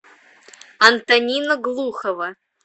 антонина глухова